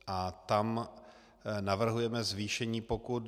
A tam navrhujeme zvýšení pokut.